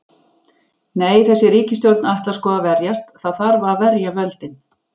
Nei, þessi ríkisstjórn ætlar sko að verjast, það þarf að verja völdin.